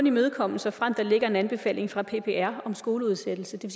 imødekommes såfremt der ligger en anbefaling fra ppr om skoleudsættelse det